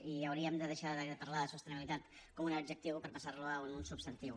i hauríem de deixar de parlar de sostenibilitat com un adjectiu per passar lo a un substantiu